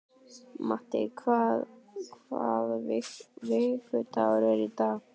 Matti, hvaða vikudagur er í dag?